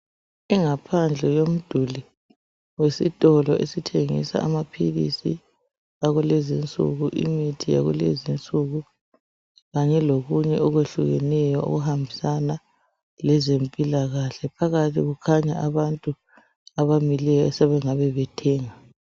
Ingaphandle yomduli wesitolo esithengisa amaphilizi akulezi insuku, imithi yakulezi insuku, kanye lokunye okwehlukeneyo okuhambisana lezempilakahle ,phakathi kukhanya abantu abamileyo asebengabe bethenga.